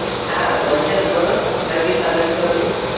হ্যাঁ, বলছেন বলুন আপনার কি সাহায্য করতে পারি?